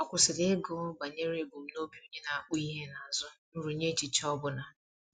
Ọ kwụsịrị ịgụ banyere ebumnobi onye na-akpụ ihe n'azụ nrụnye echiche ọ bụla.